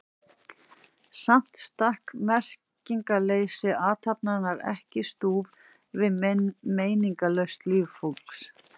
Samt stakk merkingarleysi athafnarinnar ekki í stúf við meiningarlaust líf fólksins.